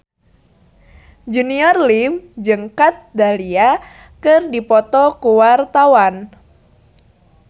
Junior Liem jeung Kat Dahlia keur dipoto ku wartawan